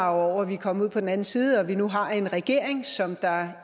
over at vi er kommet ud på den anden side og at vi nu har en regering som